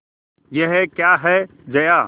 यह क्या है जया